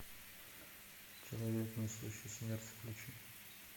человек несущий смерть включи